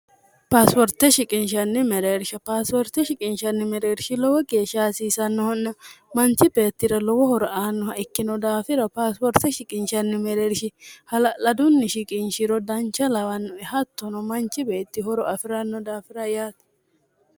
paasiworte shiqinshanni mereersha paasiworte shiqinshanni mereershi lowo geeshsha hasiisannohonna manchi beettira lowo horo aannoha ikkino daafira paasiworte shiqinchanni mereershi hala'ladunni shiqinchiro dancha lawannoe hattono manchi beettihoro afi'ranno daafira yaati